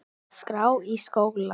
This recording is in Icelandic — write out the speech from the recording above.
skrá í skóla?